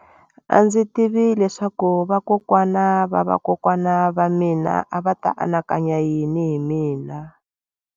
A ndzi tivi leswaku vakokwana va vakokwana va mina a va ta anakanya yini hi mina.